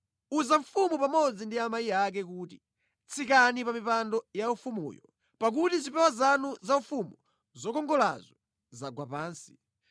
Uza mfumu pamodzi ndi amayi ake kuti, “Tsikani pa mipando yaufumuyo, pakuti zipewa zanu zaufumu zokongolazo zagwa pansi.”